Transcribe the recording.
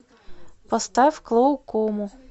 поставь клоукому